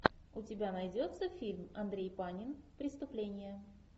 у тебя найдется фильм андрей панин преступление